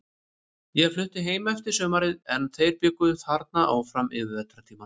Ég flutti heim eftir sumarið, en þeir bjuggu þarna áfram yfir vetrartímann.